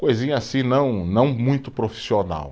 Coisinha assim, não não muito profissional.